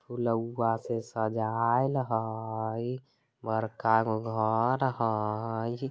फुलउवा से सजायल हई बड़का घर हई।